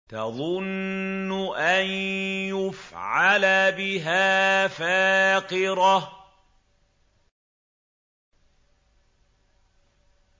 تَظُنُّ أَن يُفْعَلَ بِهَا فَاقِرَةٌ